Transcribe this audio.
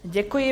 Děkuji.